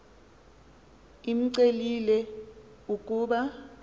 imcelile l ukuba